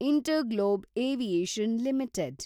InterGlobe Aviation limited